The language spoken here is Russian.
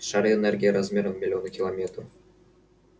шары энергии размером в миллионы километров